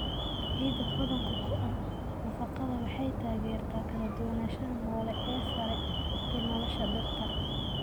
Ciidda hodanka ku ah nafaqada waxay taageertaa kala duwanaanshaha noole ee sare ee nolosha dhirta.